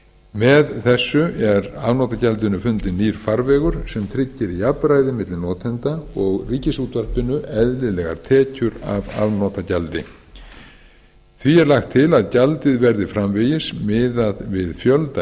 með þessu er afnotagjaldinu fundinn nýr farvegur sem tryggir jafnræði milli notenda og ríkisútvarpinu eðlilegar tekjur af afnotagjaldi því er lagt til að gjaldið verði framvegis miðað við